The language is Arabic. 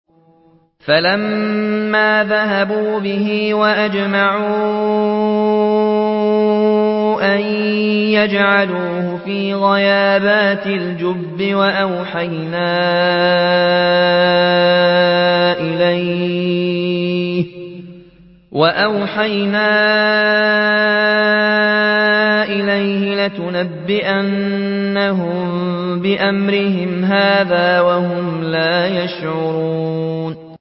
فَلَمَّا ذَهَبُوا بِهِ وَأَجْمَعُوا أَن يَجْعَلُوهُ فِي غَيَابَتِ الْجُبِّ ۚ وَأَوْحَيْنَا إِلَيْهِ لَتُنَبِّئَنَّهُم بِأَمْرِهِمْ هَٰذَا وَهُمْ لَا يَشْعُرُونَ